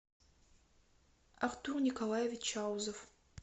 артур николаевич чаузов